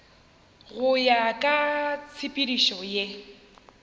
go ya ka tshepedišo ye